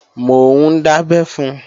Mò ń dábẹ́ fun